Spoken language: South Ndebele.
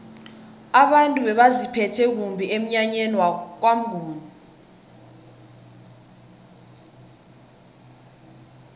abantu bebaziphethe kumbi emnyanyeni kwamnguni